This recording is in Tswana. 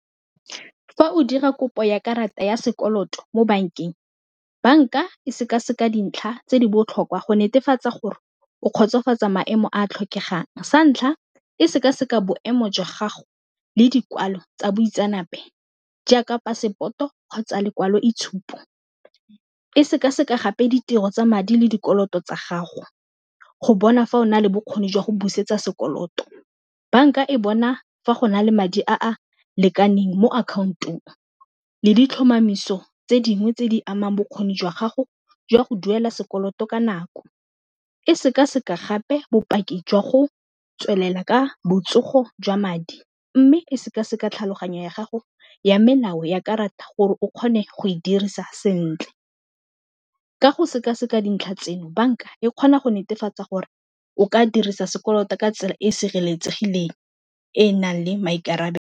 Fa o dira kopo ya karata ya sekoloto mo bankeng, banka e sekaseka dintlha tse di botlhokwa go netefatsa gore o kgotsofatsa maemo a tlhokegang, santlha e sekaseka boemo jwa gago le dikwalo tsa boitseanape jaaka passport-o kgotsa lekwalo e tshupo, e sekaseka gape ditiro tsa madi le dikoloto tsa gago go bona fa o na le bokgoni jwa go busetsa sekoloto banka e bona fa go na le madi a a lekaneng mo accountong le ditlhomamiso tse dingwe tse di amang bokgoni jwa gago jwa go duela sekoloto ka nako, e sekaseka gape bopaki jwa go tswelela ka botsogo jwa madi mme e sekaseka tlhaloganyo ya gago ya melao ya karata gore o kgone go e dirisa sentle, ka go sekaseka dintlha tseno banka e kgona go netefatsa gore o ka dirisa sekoloto ka tsela e e sireletsegileng e e nang le maikarabelo.